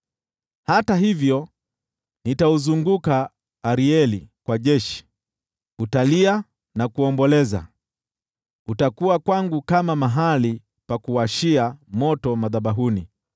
Hata hivyo nitauzunguka Arieli kwa jeshi, utalia na kuomboleza, utakuwa kwangu kama mahali pa kuwashia moto madhabahuni.